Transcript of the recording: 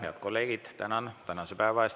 Head kolleegid, tänan tänase päeva eest!